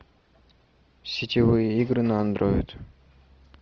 сетевые игры на андроид